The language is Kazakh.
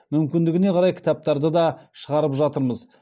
мүмкіндігіне қарай кітаптарды да шығарып жатырмыз